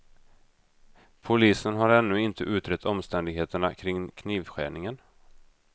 Polisen har ännu inte utrett omständigheterna kring knivskärningen.